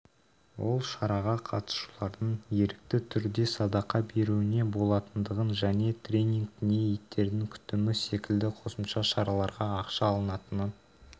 ол шараға қатысушылардың ерікті түрде садақа беруіне болатындығын және тренинг не иттердің күтімі секілді қосымша шараларға ақша алынатынын